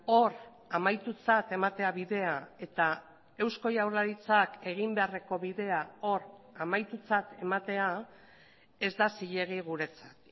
hor amaitutzat ematea bidea eta eusko jaurlaritzak egin beharreko bidea hor amaitutzat ematea ez da zilegi guretzat